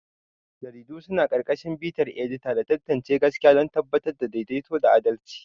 Jaridu suna ƙarƙashin bitar edita da tantance gaskiya don tabbatar da daidaito da adalci.